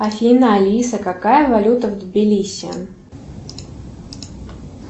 афина алиса какая валюта в тбилиси